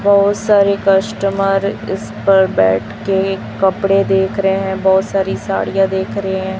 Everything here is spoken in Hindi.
बहुत सारे कस्टमर इस पर बैठके कपड़े देख रहे हैं बहुत सारी साड़ियां देख रहे हैं।